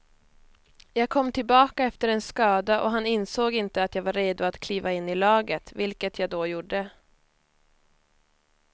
Jag kom tillbaka efter en skada och han ansåg inte att jag var redo att kliva in i laget, vilket jag då gjorde.